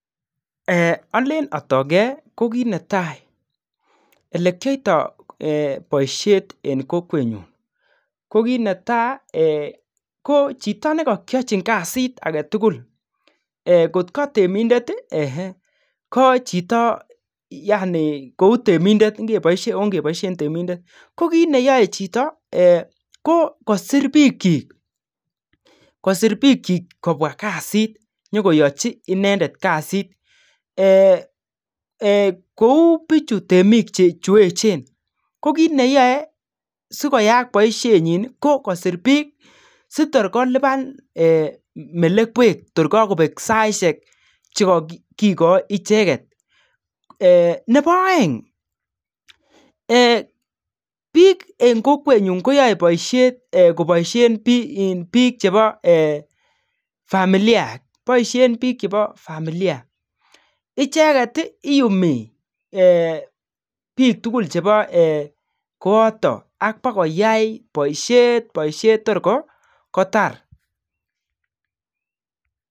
Alen atoigei ko kit netai olekiaitoi boishet eng kokwenyo. Ko kit ne tai ko chito nekakachin kasit age tugul, ngo ka temindet, ngo ka chito , ongeboishe temindet, ko kit neyoei chito ko ngosir biikchi kobwa kasit, nyo koyachi inendet kasit kou biichu temik cheechen ko kit neyoei sikoyaak boishenyi, ko kosir biik si koi kolipan melekwek kor kakobek saishek. Nebo oeng biik eng kokwenyu koboishe biik chebo familia icheket inyumi biik tugul chebo koyotok ak bokoyai boishet tor kotar.